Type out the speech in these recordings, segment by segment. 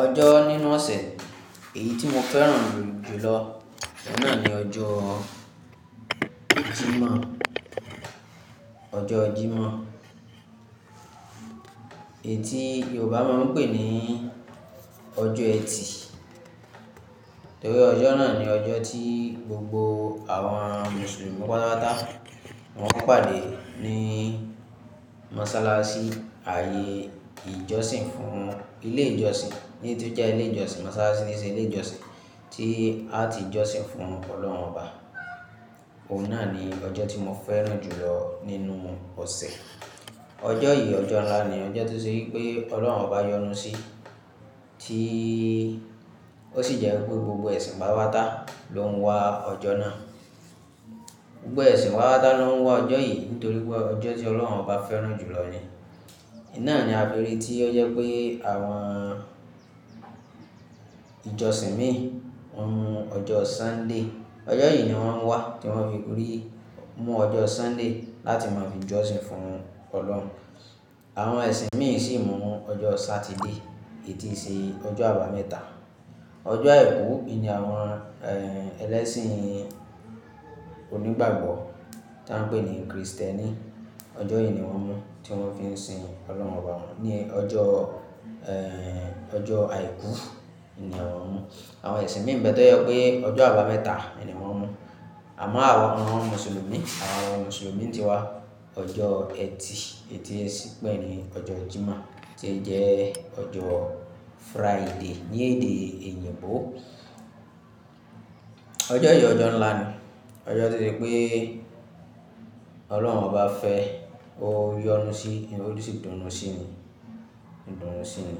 Ọjọ́ nínú ọ̀sẹ̀ èyí tí mo fẹ́ràn jù lọ náà ni ọjọ́ Jímọ̀, ọjọ́ Jímọ̀ èyí tí Yorùbá máa ń pè ní ọjọ́ ẹtì. Nítorí ọjọ́ náà ni ọjọ́ tí gbogbo àwọn Mùsùlùmí pátápátá wọn ó pàdé ní mọ́sálásí ayé ìjọsìn fún ilé ìjọsìn, ní tí ó jẹ́ ilé ìjọsìn mọ́sálásí ni ṣe ilé ìjọsìn tí a ti jọsìn fún Ọlọ́run Ọba. Ó náà ni ọjọ́ tí mo fẹ́ràn jù lọ nínú ọ̀sẹ̀. Ọjọ́ yìí ọjọ́ ńlá ni, ọjọ́ tí ó ṣe pé Ọlọ́run Ọba yọnu sí, tí ó sì jẹ́ pé gbogbo ẹ̀sìn pátápátá ló ń wá ọjọ́ náà. Gbogbo ẹ̀sìn pátápátá ló ń wá ọjọ́ yìí nítorí pé ọjọ́ tí Ọlọ́run Ọba fẹ́ràn jù lọ ni. Iná ni a fi rí tí ó jẹ́ pé àwọn ìjọsìn míì wọ́n mú ọjọ́ Sunday, ọjọ́ yìí ni wọ́n ń wá tí wọ́n fi rí mú ọjọ́ Sunday láti máa fi jọsìn fún Ọlọ́run. Àwọn ẹ̀sìn míì sì mú ọjọ́ Saturday èyí tí ṣe ọjọ́ àbámẹ́ta. Ọjọ́ àìkú ni àwọn ẹlẹ́sìn onígbàgbọ́ tí a ń pè ní Krìstẹ́nì, ọjọ́ yìí ni wọ́n mú tí wọ́n fi ń sin Ọlọ́run wọn ní ọjọ́, ẹ́ẹ́, ọjọ́ àìkú ni àwọn ń mú. Àwọn ẹ̀sìn míì bẹ́ẹ̀ tó jẹ́ pé ọjọ́ àbámẹ́ta ni wọ́n ń mú. Àmọ́ àwọn Mùsùlùmí, àwọn Mùsùlùmí n ti wá ọjọ́ ẹtì èyí tí ẹ sí pè ní ọjọ́ Jímọ̀ tí ó jẹ́ ọjọ́ Friday ní èdè oyìnbó. Ọjọ́ yìí ọjọ́ ńlá ni, ọjọ́ tí ó ṣe pé Ọlọ́run Ọba fẹ́ ó yọnu sí, ó sì dùnú sí ni, ó dùnú sí i.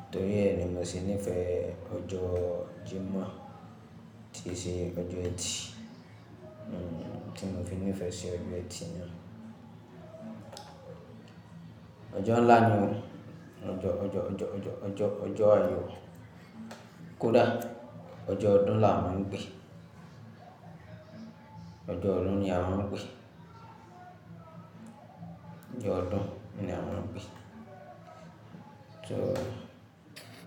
Nítorí ẹ́ ni mo sì nífẹ̀ẹ́ ọjọ́ Jímọ̀ tí ṣe ọjọ́ ẹtì, Tí mo fi nífẹ̀ẹ́ sí ọjọ́ ẹtì náà. Ọjọ́ ńlá ni o, ọjọ́, ọjọ́, ọjọ́, ọjọ́, ọjọ́, ọjọ́ ayò. Kódà ọjọ́ ọdún ńlá mo ń pè é, ọjọ́ ọdún ni a máa ń pè é, ọjọ́ ọdún ni a máa ń pè é. So.